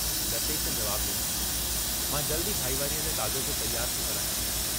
लतेश जवाब डिनो, "मां जल्दु ई भाईवारीअ जा काग़ज़ तियारु थो करायां।